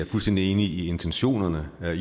fuldstændig enige i intentionerne